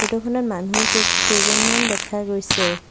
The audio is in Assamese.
ফটো খনত মানুহ কে কেইজনমান দেখা গৈছে।